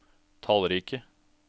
tallrike